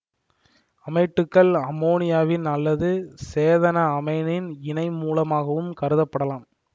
அமைட்டுக்கள் அமோனியாவின் அல்லது சேதன அமைனின் இணைமூலமாகவும் கருதப்படலாம்